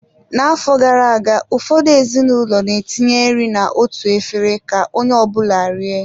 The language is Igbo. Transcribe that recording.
N'afọ gara aga, ụfọdụ ezinụlọ na-etinye nri na-otu efere ka onye ọ bụla rie.